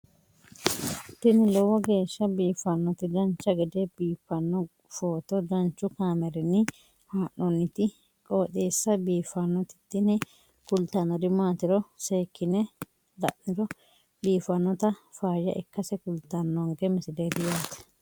tini lowo geeshsha biiffannoti dancha gede biiffanno footo danchu kaameerinni haa'noonniti qooxeessa biiffannoti tini kultannori maatiro seekkine la'niro biiffannota faayya ikkase kultannoke misileeti yaate